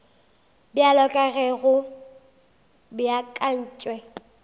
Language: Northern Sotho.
bjalo ka ge go beakantšwe